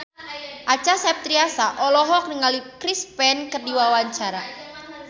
Acha Septriasa olohok ningali Chris Pane keur diwawancara